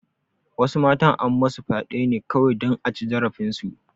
Wasu matan an masu fyaɗe ne kawai dan a ci zarafin su